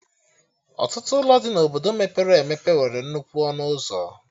Ọtụtụ ụlọ dị na Obodo mepere emepe nwere nnukwu ọnụ ụzọ